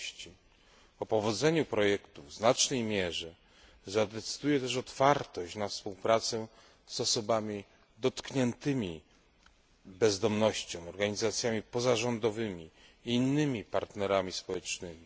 O powodzeniu projektu w znacznej mierze zadecyduje też otwartość na współpracę z osobami dotkniętymi bezdomnością, organizacjami pozarządowymi i innymi partnerami społecznymi.